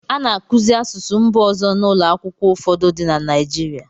A na-akụzi asụsụ mba ọzọ n'ụlọ akwụkwọ ụfọdụ dị na Naịjirịa.